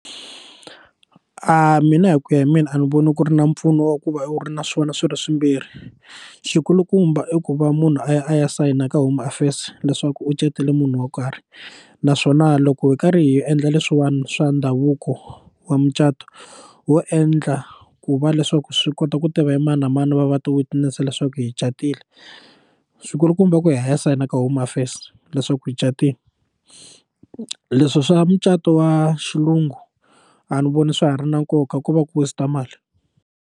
Mina hi ku ya hi mina a ni voni ku ri na mpfuno wa ku va u ri na swona swi ri swimbirhi xikulukumba i ku va munhu a ya a ya sayina ka home affairs leswaku u catile munhu wo karhi naswona loko hi karhi hi endla leswiwani swa ndhavuko wa mucato wo endla ku va leswaku swi kota ku tiva hi mani na mani va va ti witness leswaku hi catile swikulukumba i ku ya hi ya sayina ka home affairs leswaku hi catile leswi swa mucato wa xilungu a ni voni swa ha ri na nkoka ku va ku waste mali.